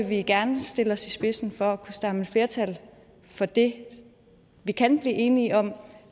vi gerne stille os i spidsen for at kunne samle flertal for det vi kan blive enige om